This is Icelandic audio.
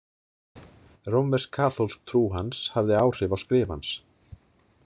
Rómversk kaþólsk trú hans hafði áhrif á skrif hans.